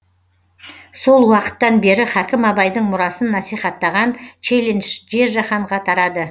сол уақыттан бері хакім абайдың мұрасын насихаттаған челлендж жер жаһанға тарады